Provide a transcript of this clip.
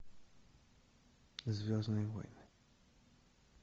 звездные войны